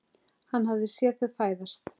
Hann hafði séð þau fæðast.